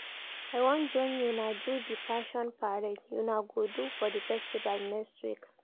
I wan join una do the fashion parade una go do for the festival next week